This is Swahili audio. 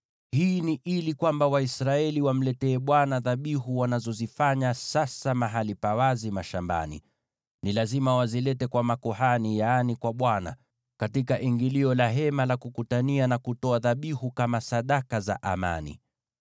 Hii ni ili Waisraeli wamletee Bwana dhabihu wanazozifanya sasa mahali pa wazi mashambani. Ni lazima wazilete kwa makuhani, yaani kwa Bwana , katika ingilio la Hema la Kukutania, na kutoa dhabihu kama sadaka za amani.